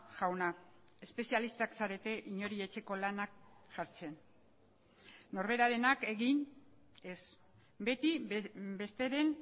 jauna espezialistak zarete inori etxeko lanak jartzen norberarenak egin ez beti besteren